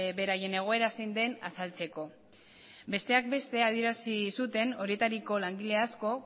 beraien egoera zein den azaltzeko besteak beste adierazi zuten horietariko langile asko